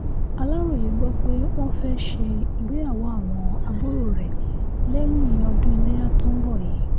aláròye gbọ́ pé wọ́n fẹ́ẹ́ ṣe ìgbéyàwó àwọn àbúrò rẹ̀ lẹ́yìn ọdún ilẹ́yà tó ń bọ̀ yìí